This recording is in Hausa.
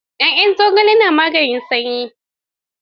Ya'yan zogale na maganin sanyi.